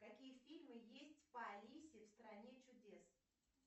какие фильмы есть по алисе в стране чудес